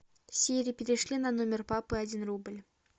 сири перешли на номер папы один рубль